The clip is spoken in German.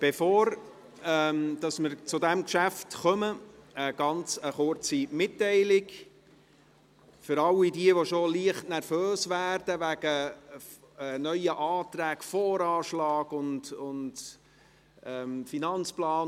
Bevor wir zu diesem Geschäft kommen, eine ganz kurze Mitteilung für alle, die schon leicht nervös werden wegen neuer Anträgen zum Voranschlag und zum Finanzplan: